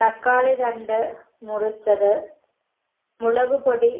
തക്കാളി രണ്ട് മുറിച്ചത് മുളക് പൊടി